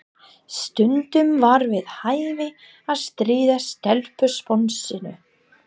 Stundum var við hæfi að stríða stelpusponsinu.